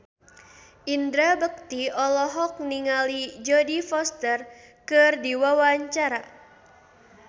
Indra Bekti olohok ningali Jodie Foster keur diwawancara